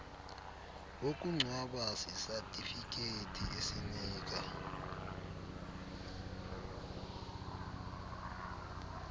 wokungcwaba sisatifiketi esinika